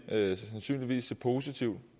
sandsynligvis se positivt